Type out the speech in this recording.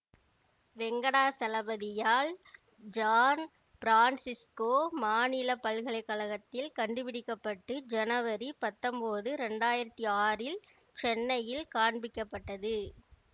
வெங்கடாசலபதியால் San Francisco மாநில பல்கலை கழகத்தில் கண்டுபிடிக்க பட்டு ஜனவரி பத்தொன்போது இரண்டு ஆயிரத்தி ஆறில் சென்னையில் காண்பிக்கப்பட்டது